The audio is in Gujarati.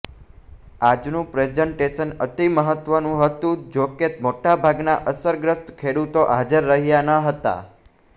આજનુ પ્રેઝન્ટેશન અતિમહત્વનું હતુ જો કે મોટા ભાગના અસરગ્રસ્ત ખેડૂતો હાજર રહ્યા ન હતા